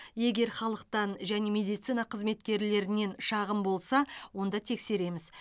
егер халықтан және медицина қызметкерлерінен шағым болса онда тексереміз